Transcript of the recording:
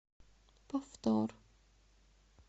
повтор